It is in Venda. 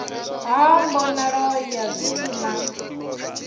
ha mbonalo ya zwithu na